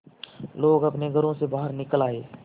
लोग अपने घरों से बाहर निकल आए